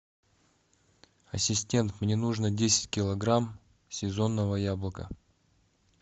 ассистент мне нужно десять килограмм сезонного яблока